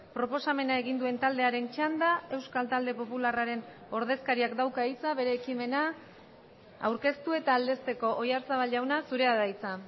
proposamena egin duen taldearen txanda euskal talde popularraren ordezkariak dauka hitza bere ekimena aurkeztu eta aldezteko oyarzabal jauna zurea da hitza